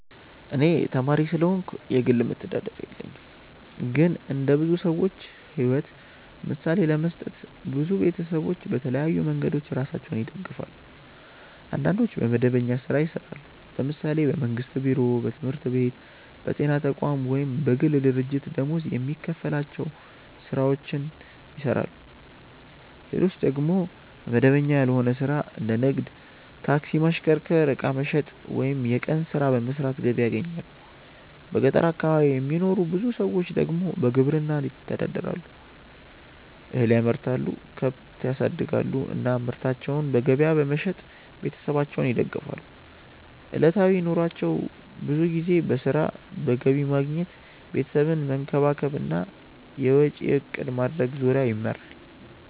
እኔ ተማሪ ስለሆንኩ የግል መተዳደሪያ የለኝም። ግን እንደ ብዙ ሰዎች ሕይወት ምሳሌ ለመስጠት፣ ብዙ ቤተሰቦች በተለያዩ መንገዶች ራሳቸውን ይደግፋሉ። አንዳንዶች በመደበኛ ሥራ ይሰራሉ፤ ለምሳሌ በመንግስት ቢሮ፣ በትምህርት ቤት፣ በጤና ተቋም ወይም በግል ድርጅት ደመወዝ የሚከፈላቸው ሥራዎችን ይሰራሉ። ሌሎች ደግሞ በመደበኛ ያልሆነ ሥራ እንደ ንግድ፣ ታክሲ ማሽከርከር፣ ዕቃ መሸጥ ወይም የቀን ሥራ በመስራት ገቢ ያገኛሉ። በገጠር አካባቢ የሚኖሩ ብዙ ሰዎች ደግሞ በግብርና ይተዳደራሉ፤ እህል ያመርታሉ፣ ከብት ያሳድጋሉ እና ምርታቸውን በገበያ በመሸጥ ቤተሰባቸውን ይደግፋሉ። ዕለታዊ ኑሯቸው ብዙ ጊዜ በሥራ፣ በገቢ ማግኘት፣ ቤተሰብን መንከባከብ እና የወጪ እቅድ ማድረግ ዙሪያ ይመራል።